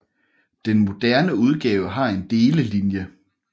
Den moderne udgave har en delelinje